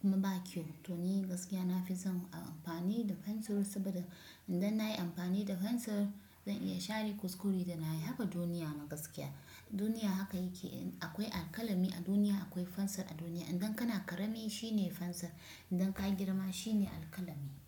kuma ba kyau. To ni gaskiya na fi son a amfani da fensir saboda idan na yi amfani da fensir zan iya share kuskure da na yi. Haka duniya ma gaskiya, duniya haka yake. Akwai alkalami a duniya, akwai fensir a duniya. Idan kana ƙarami shine fensir, idan ka girma shine alkalami.